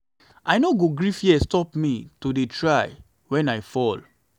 i no go gree fear stop me to dey try wen i fall.